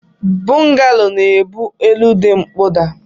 Bọgalo na ebu elu di nkpọda.